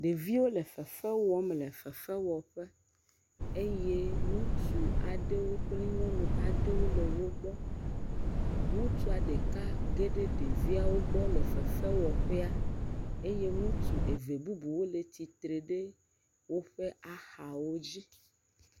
Ɖeviwo le fefe wɔm le fefe wɔ ƒe eye ŋutsu aɖewo kple nyɔnu aɖewo le wo gbɔ ŋutsua ɖeka geɖe ɖeviawo gbɔ le fefe wɔ ƒea eye ŋutsu eve bubu wo le tsi tre ɖe woƒe axawo dzi.